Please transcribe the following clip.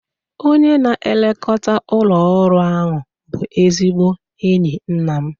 Onye na-elekọta ụlọ ọrụ ahu bụ ezigbo enyi nna m.